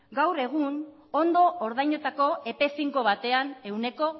gaur egun ondo ordaindutako epe finko batean ehuneko